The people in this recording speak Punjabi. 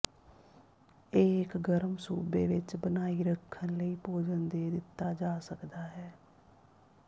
ਇਹ ਇੱਕ ਗਰਮ ਸੂਬੇ ਵਿਚ ਬਣਾਈ ਰੱਖਣ ਲਈ ਭੋਜਨ ਦੇ ਦਿੱਤਾ ਜਾ ਸਕਦਾ ਹੈ